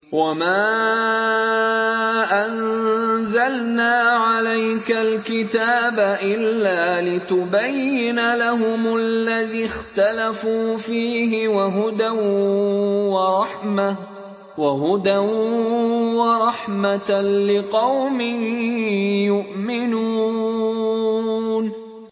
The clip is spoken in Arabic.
وَمَا أَنزَلْنَا عَلَيْكَ الْكِتَابَ إِلَّا لِتُبَيِّنَ لَهُمُ الَّذِي اخْتَلَفُوا فِيهِ ۙ وَهُدًى وَرَحْمَةً لِّقَوْمٍ يُؤْمِنُونَ